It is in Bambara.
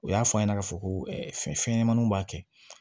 U y'a fɔ a ɲɛna k'a fɔ ko fɛn ɲɛnɛmaninw b'a kɛ